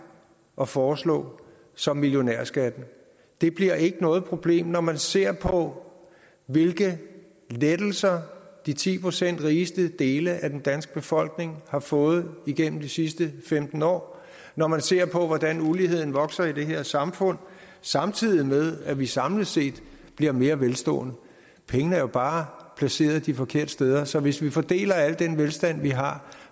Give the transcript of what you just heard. at foreslå som millionærskatten det bliver ikke noget problem når man ser på hvilke lettelser den ti procent rigeste del af den danske befolkning har fået igennem de sidste femten år og når man ser på hvordan uligheden vokser i det her samfund samtidig med at vi samlet set bliver mere velstående pengene er bare placeret de forkerte steder så hvis vi fordeler al den velstand vi har